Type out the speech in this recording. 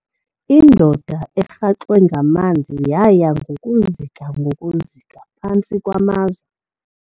Indoda erhaxwe ngamanzi yaya ngokuzika ngokuzika phantsi kwamaza.